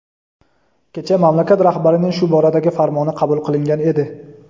kecha mamlakat rahbarining shu boradagi farmoni qabul qilingan edi.